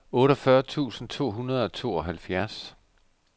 otteogfyrre tusind to hundrede og tooghalvfjerds